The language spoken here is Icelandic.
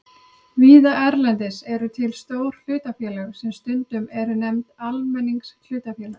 Víða erlendis eru til stór hlutafélög sem stundum eru nefnd almenningshlutafélög.